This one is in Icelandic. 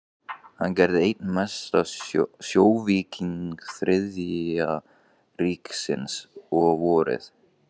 Hann gerðist einn mesti sjóvíkingur Þriðja ríkisins, og vorið